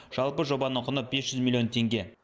жалпы жобаның құны бес жүз миллион теңге